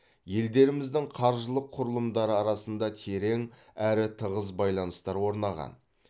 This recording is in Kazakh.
елдеріміздің қаржылық құрылымдары арасында терең әрі тығыз байланыстар орнаған